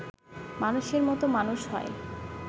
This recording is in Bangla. মানুষের মত মানুষ হয়